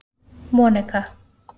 Monika